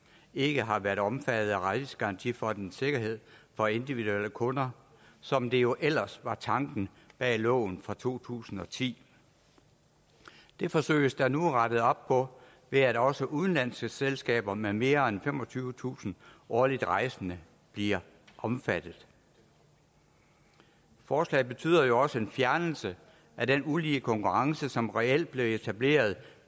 ikke har været omfattet af rejsegarantifondens sikkerhed for individuelle kunder som det jo ellers var tanken bag loven fra to tusind og ti det forsøges der nu rettet op på ved at også udenlandske selskaber med mere end femogtyvetusind årligt rejsende bliver omfattet forslaget betyder jo også en fjernelse af den ulige konkurrence som reelt blev etableret